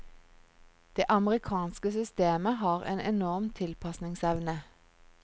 Det amerikanske systemet har en enorm tilpasningsevne.